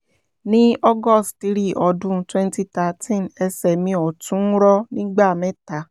ní august three ọdún twenty thirteen ẹsẹ̀ mi ọ̀tún rọ nígbà mẹ́ta